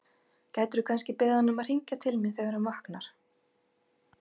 Gætirðu kannski beðið hann um að hringja til mín þegar hann vaknar?